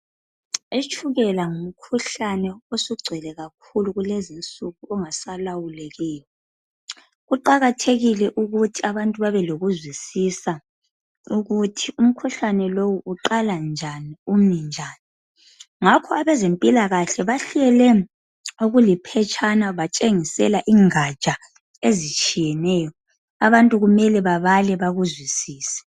Itshukela ngumkhuhlane osugcwele kakhulu kulezinsuku ongasalawulekiyo. Kuqakathekile ukuthi abantu babelokuzwisisa ukuthi umkhuhlane lo uqala njani umi njani. Ngakho abezempilakahle bahlele okuliphetshana batshengisela ingatsha ezitshiyeneyo. Abantu kumele babale bakuzwisise.